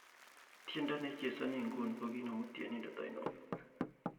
tiendo neichezoni inguni ko kiinemu ttienindet ainon